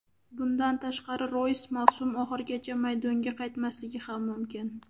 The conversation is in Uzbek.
Bundan tashqari Roys mavsum oxirigacha maydonga qaytmasligi ham mumkin.